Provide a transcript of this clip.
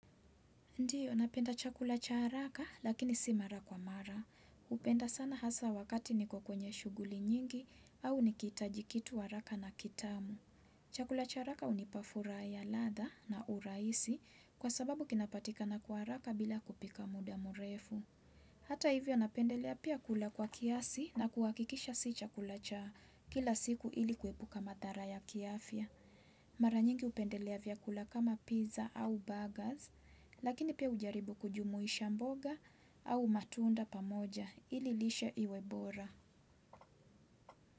Ndiyo, napenda chakula cha haraka lakini si mara kwa mara. Hupenda sana hasa wakati niko kwenye shuguli nyingi au nikihitaji kitu haraka na kitamu. Chakula cha haraka hunipa furaha ya latha na urahisi kwa sababu kinapatika na kwa haraka bila kupika muda murefu. Hata hivyo napendelea pia kula kwa kiasi na kuhakikisha si chakula cha kila siku ili kuepuka madhara ya kiafya. Mara nyingi hupendelea vyakula kama pizza au burgers, lakini pia hujaribu kujumuisha mboga au matunda pamoja ili lishe iwe bora.